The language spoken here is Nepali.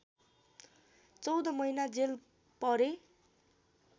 चौध महिना जेल परे